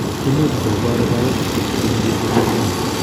Imuche kobor biopsy kotko tinye chito seriat